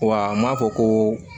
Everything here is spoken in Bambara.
Wa n m'a fɔ ko